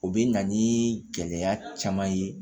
O bɛ na ni gɛlɛya caman ye